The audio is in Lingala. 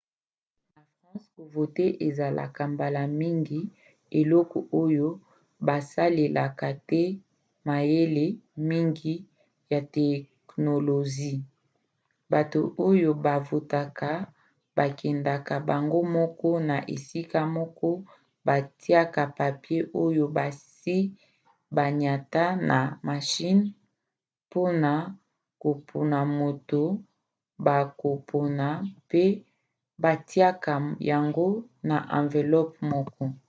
na france kovote ezalaka mbala mingi eloko oyo basalelaka te mayele mngi ya teknolozi: bato oyo bavotaka bakendaka bango moko na esika moko batiaka papie oyo basi baniata na mashine mpona kopona moto bakopona mpe batiaka yango na amvelope moko